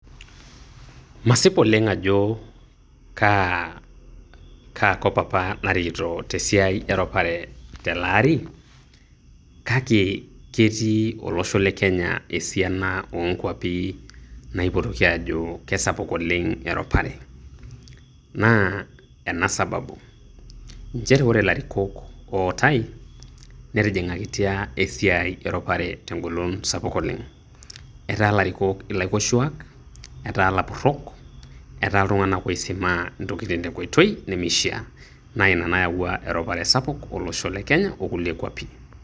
masip oleng ajo kaa kop apa narikito tesiai eropare telaari kake ketii olosho le Kenya esiana oonkwapi naaipotoki aajo kespuk oleng eropare naa ena sababu nchere ore ilarikok ootai netingakitia esiai eropare tengolon sapuk oleng ,etaa ilarikok ilaikoshuak ,etaa ilapurok ,etaa iiltunganak oisimaa intokitin tenkoitoi nemeishiaa naa ina nayawua eropare sapuk olosho le Kenya okulie kwapi.